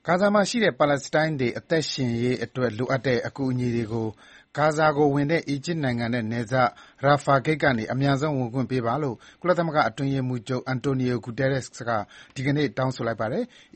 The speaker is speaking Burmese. ဂါဇာမှာရှိတဲ့ ပါလက်စတိုင်းတွေ အသက်ရှင်သန်ရေးအတွက်လိုအပ်တဲ့ အကူအညီတွေကို ဂါဇာကိုဝင်တဲ့ အီဂျစ်နိုင်ငံနဲ့ နယ်စပ် Rafah ဂိတ်ကနေ အမြန်ဆုံး ဝင်ခွင့်ပေးပါလို့ ကုလသမဂ္ဂအတွင်းရေးမှူးချုပ် Antonio Guterres က ဒီကနေ့ တောင်းဆိုလိုက်ပါတယ်။